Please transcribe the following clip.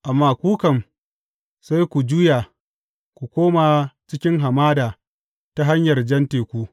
Amma ku kam, sai ku juya, ku koma cikin hamada ta hanyar Jan Teku.